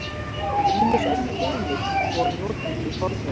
Ýmis önnur viðmið voru notuð í fornöld.